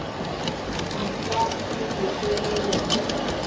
di ka se lefelelwe ke